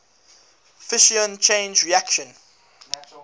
fission chain reaction